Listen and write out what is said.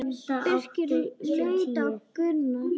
Birkir leit á Gunnar.